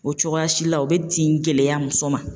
O cogoya si la o bɛ tin gɛlɛya muso ma